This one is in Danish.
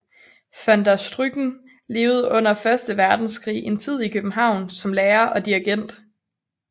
Van der Stucken levede under første verdenskrig en tid i København som lærer og dirigent